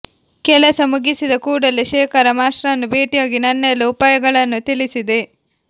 ಕೆಲಸ ಮುಗಿಸಿದ ಕೂಡಲೇ ಶೇಖರ ಮಾಷ್ಟರನ್ನು ಭೇಟಿಯಾಗಿ ನನ್ನೆಲ್ಲ ಉಪಾಯಗಳನ್ನು ತಿಳಿಸಿದೆ